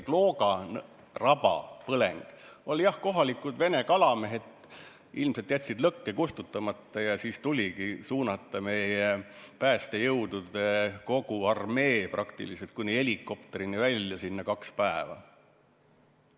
Klooga raba põleng puhkes, kuna kohalikud vene kalamehed ilmselt jätsid lõkke kustutamata ja siis tuligi suunata meie päästejõudude kogu armee, praktiliselt kõik kuni helikopterini välja, kaheks päevaks sinna.